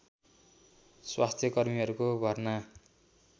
स्वास्थ्यकर्मीहरूको भर्ना